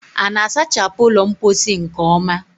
A na-asachapụ ụlọ mposi nke ọma?